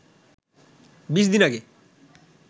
২০ দিন আগে